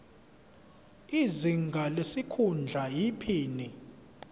izinga lesikhundla iphini